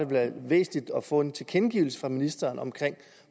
være væsentligt at få en tilkendegivelse fra ministeren om